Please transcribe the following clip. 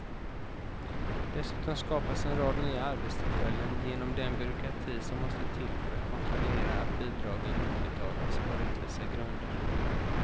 Dessutom skapas en rad nya arbetstillfällen, genom den byråkrati som måste till för att kontrollera att bidragen utbetalas på rättvisa grunder.